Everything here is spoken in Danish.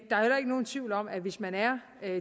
er heller ikke nogen tvivl om at hvis man er